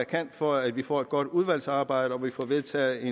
kan for at vi får et godt udvalgsarbejde og for at vi får vedtaget et